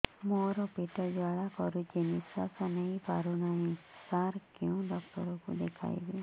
ମୋର ପେଟ ଜ୍ୱାଳା କରୁଛି ନିଶ୍ୱାସ ନେଇ ପାରୁନାହିଁ ସାର କେଉଁ ଡକ୍ଟର କୁ ଦେଖାଇବି